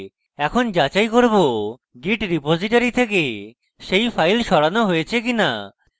এখন যাচাই করব git repository থেকে সেই file সরানো হয়েছে কিনা